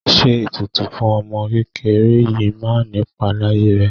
Ṣé ètùtù fún ọmọ kékeré yìí máa nipa láyé rẹ?